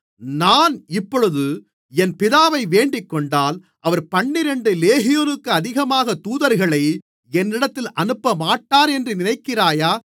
நான் இப்பொழுது என் பிதாவை வேண்டிக்கொண்டால் அவர் பன்னிரண்டு லேகியோனுக்கு அதிகமான தூதர்களை என்னிடத்தில் அனுப்பமாட்டாரென்று நினைக்கிறாயா